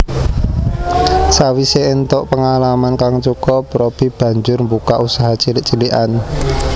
Sawisé éntuk pengalaman kang cukup Robby banjur mbukak usaha cilik cilikan